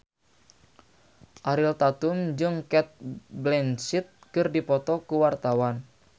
Ariel Tatum jeung Cate Blanchett keur dipoto ku wartawan